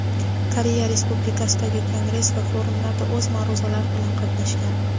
Koreya Respublikasidagi kongress va forumlarda o‘z ma’ruzalari bilan qatnashgan.